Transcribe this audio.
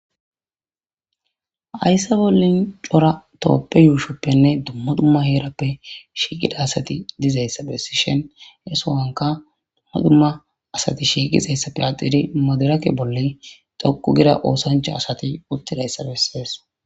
Hayissan bollanni cora tophphiya ushshoppenne dumma dumma herappe shiqiida asati dizayissa be'ishshenni hee so'onnikka dumma dumma asati shiqizayissa patidi medirekke bolla dhoqqu gida oththanichcha asati uttidayissa besses.